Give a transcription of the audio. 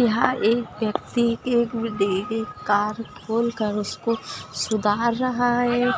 यहा एक व्यक्ति कार खोलकर उसको सुधार रहा है।